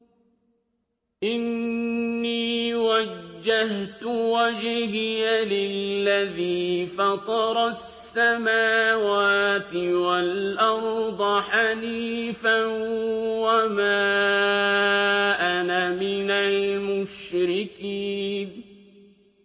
إِنِّي وَجَّهْتُ وَجْهِيَ لِلَّذِي فَطَرَ السَّمَاوَاتِ وَالْأَرْضَ حَنِيفًا ۖ وَمَا أَنَا مِنَ الْمُشْرِكِينَ